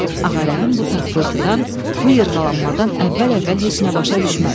Ağarəhim bu taqqıltıdan, bu yırğalanmadan əvvəl-əvvəl heç nə başa düşmədi.